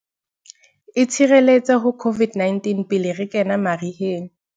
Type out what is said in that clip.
Itshireletse ho COVID-19 pele re kena mariheng